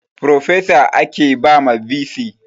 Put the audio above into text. Frofesa ake ba ma bc